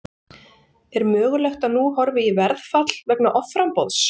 Er mögulegt að nú horfi í verðfall vegna offramboðs?